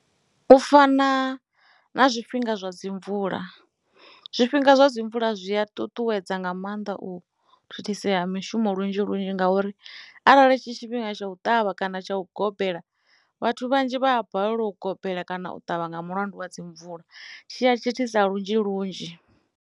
U fana na zwifhinga zwa dzi mvula zwifhinga zwa dzi mvula zwi a ṱuṱuwedza nga maanḓa u thithisea mishumo lunzhi lunzhi ngauri arali tshi tshifhinga tsha u ṱavha kana tsha u gobela vhathu vhanzhi vha a balelwa u gobela kana u ṱavha nga mulandu wa dzi mvula tshi ya thithisa lunzhi lunzhi.